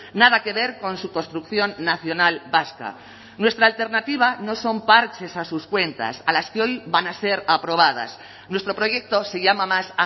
nada que ver con su construcción nacional vasca nuestra alternativa no son parches a sus cuentas a las que hoy van a ser aprobadas nuestro proyecto se llama más